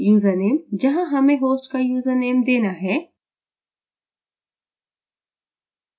username – जहाँ हमें host का यूजरनेम देना है